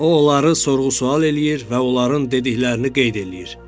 O onları sorğu-sual eləyir və onların dediklərini qeyd eləyir.